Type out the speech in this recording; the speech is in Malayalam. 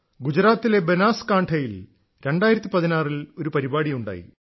ഗുജറാത്തിലെ ബനാസ്കാൺഠായിൽ 2016 ൽ ഒരു പരിപാടിയുണ്ടായി